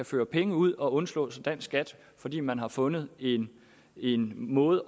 føre penge ud og undslå sig dansk skat fordi man har fundet en en måde